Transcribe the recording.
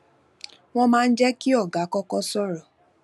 wón máa ń jé kí ọlga kókó sòrò